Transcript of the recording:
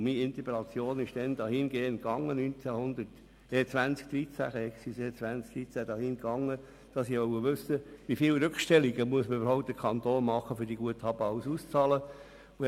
Meine Interpellation erfolgte im Jahr 2013 dahingehend, dass ich wissen wollte, wie viele Rückstellungen im Kanton eigentlich gemacht werden müssten, um die betreffenden Guthaben alle auszahlen zu können.